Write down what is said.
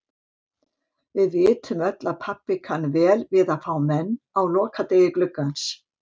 Við vitum öll að pabbi kann vel við að fá menn á lokadegi gluggans.